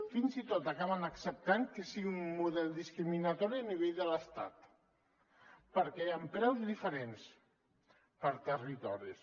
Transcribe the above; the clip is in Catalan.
fins i tot acaben acceptant que sigui un model discriminatori a nivell de l’estat perquè hi ha preus diferents per territoris